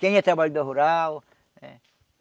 Quem é trabalhador rural eh.